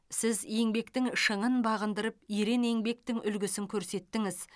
сіз еңбектің шыңын бағындырып ерен еңбектің үлгісін көрсеттіңіз